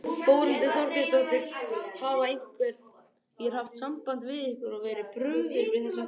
Þórhildur Þorkelsdóttir: Hafa einhverjir haft samband við ykkur og verið brugðið við þessar fréttir?